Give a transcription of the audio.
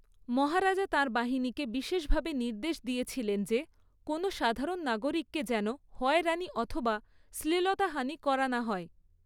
মহারাজা তাঁর বাহিনীকে বিশেষভাবে নির্দেশ দিয়েছিলেন যে কোনও সাধারণ নাগরিককে যেন হয়রানি অথবা শ্লীলতাহানি করা না হয়।